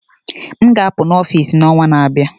m ga-apụ na Office n'ọnwa na-abịa